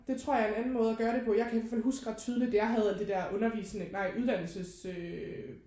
Det tror jeg er en anden måde at gøre det på jeg kan i hvert fald huske ret tydeligt jeg havde det der undervisende nej uddannelse øh